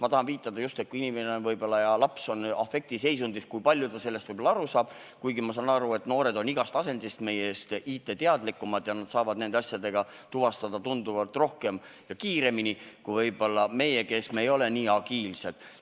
Ma tahan viidata just sellele, et kui inimene, eelkõige laps, on afektiseisundis, siis kui palju ta sellest aru saab, kuigi mõistan, et noored on meist igas asendis IT-teadlikumad ja saavad nende asjadega end tuvastatud tunduvalt kiiremini kui võib-olla meie, kes me ei ole nii agiilsed.